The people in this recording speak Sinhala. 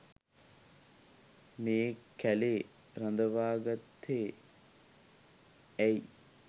මේ කැලේ රඳවාගත්තෙ ඇයි?